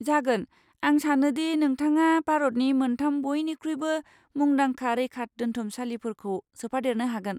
जागोन! आं सानो दि नोंथाङा भारतनि मोनथाम बइनिख्रुइबो मुंदांखा रैखादोन्थुमसालिफोरखौ सोफादेरनो हागोन।